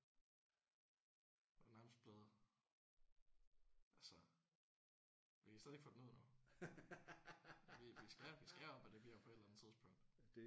Og nærmest blevet altså vi har stadig ikke fundet ud af noget. Vi skrev om at det bliver på et eller andet tidspunkt